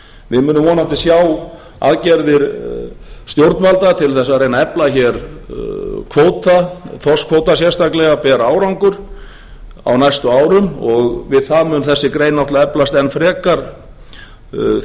við munum vonandi sjá aðgerðir stjórnvalda til þess að reyna að efla hér kvóta þorskkvóta sérstaklega bera árangur og við það mun þessi grein náttúrlega eflast enn frekar þjóðinni